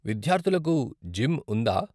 విద్యార్థులకు జిమ్ ఉందా?